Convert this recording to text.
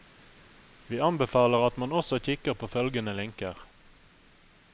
Vi anbefaler at man også kikker på følgende linker.